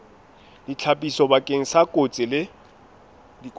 ditlhapiso bakeng sa dikotsi le